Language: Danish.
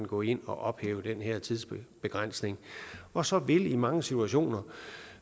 gå ind og ophæve den her tidsbegrænsning og så vil udlejer i mange situationer